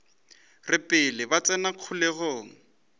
re pele ba tsena kgolegong